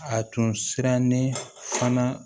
A tun sirannen fana